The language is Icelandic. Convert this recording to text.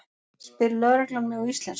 spyr lögreglan mig á íslensku.